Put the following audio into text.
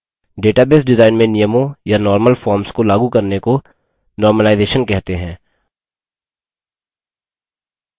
database design में नियमों या normal forms को लागू करने को normalization सामान्यकरण कहते हैं